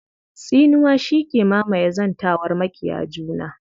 Tsinuwa shi ke mamaye zantawar maƙiya juna.